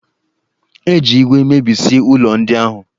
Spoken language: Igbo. E ji iwe mebisie ụlọ ndị ahụ